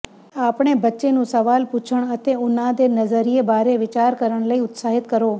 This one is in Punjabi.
ਆਪਣੇ ਬੱਚੇ ਨੂੰ ਸਵਾਲ ਪੁੱਛਣ ਅਤੇ ਉਹਨਾਂ ਦੇ ਨਜ਼ਰੀਏ ਬਾਰੇ ਵਿਚਾਰ ਕਰਨ ਲਈ ਉਤਸ਼ਾਹਿਤ ਕਰੋ